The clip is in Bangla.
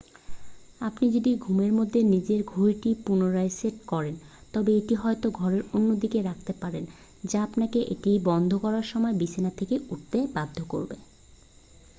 আপনি যদি ঘুমের মধ্যে নিজে ঘড়িটি পুনরায় সেট করেন তবে এটিকে হয়ত ঘরের অন্যদিকে রাখতে পারেন যা আপনাকে এটা বন্ধ করার সময় বিছানা থেকে উঠতে বাধ্য করবে